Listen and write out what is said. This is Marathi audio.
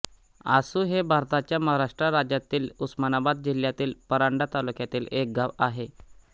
आसु हे भारताच्या महाराष्ट्र राज्यातील उस्मानाबाद जिल्ह्यातील परांडा तालुक्यातील एक गाव आहे